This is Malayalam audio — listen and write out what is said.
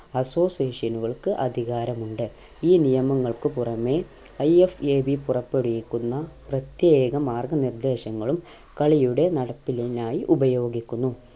association നുകൾക്ക് അധികാരം ഉണ്ട് ഈ നിയമങ്ങൾക്ക് പുറമെ IFAB പുറപ്പെടുവിക്കുന്ന പ്രത്യേക മാർഗ്ഗനിർദ്ദേശങ്ങളും കളിയുടെ നടപ്പിലിനായി ഉപയോഗിക്കുന്നു